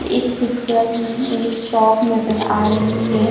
इस पिक्चर में एक शोप नजर आ रही हैं।